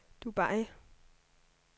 Dubai